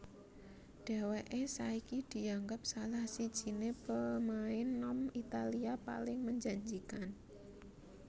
Dheweke saiki dianggep salah sijine pemain nom Italia paling menjanjikan